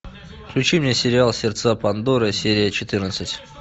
включи мне сериал сердца пандоры серия четырнадцать